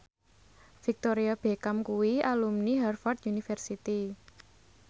Victoria Beckham kuwi alumni Harvard university